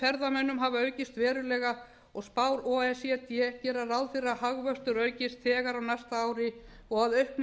ferðamönnum hafa aukist verulega og spár o e c d gera ráð fyrir að hagvöxtur aukist þegar á næsta ári og að aukning